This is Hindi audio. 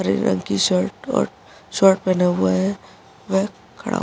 हरे रंग की शर्ट और शर्ट पहना हुआ है। वह खड़ा --